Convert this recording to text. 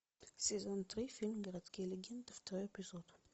сезон три фильм городские легенды второй эпизод